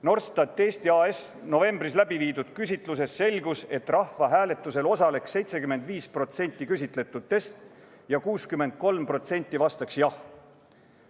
Norstat Eesti AS‑i novembris läbiviidud küsitlusest selgus, et rahvahääletusel osaleks 75% küsitletutest ja 63% vastaks jah.